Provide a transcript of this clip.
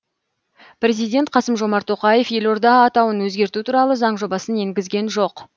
президент қасым жомарт тоқаев елорда атауын өзгерту туралы заң жобасын енгізген жоқ